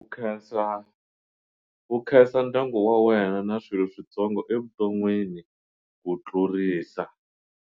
U khensa ndyangu wa wena na swilo switsongo evuton'wini ku tlurisa.